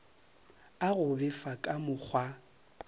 a go befa ka mokgwa